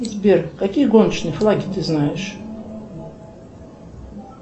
сбер какие гоночные флаги ты знаешь